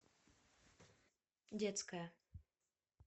детская